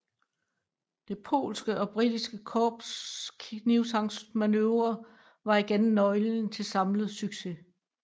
Det polske og britiske korps knibtangsmanøvre var igen nøglen til samlet succes